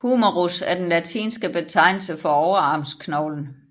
Humerus er den latinske betegnelse for overarmsknoglen